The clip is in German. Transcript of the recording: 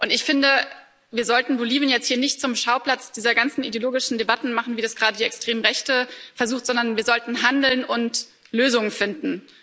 Ich finde, wir sollten Bolivien jetzt hier nicht zum Schauplatz dieser ganzen ideologischen Debatten machen wie es gerade die extreme Rechte versucht sondern wir sollten handeln und Lösungen finden.